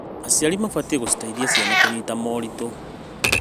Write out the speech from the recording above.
Aciari mabatiĩ gũciteithia ciana kũnyita moritũ.